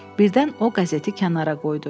Birdən o qəzeti kənara qoydu.